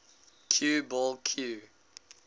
cue ball cue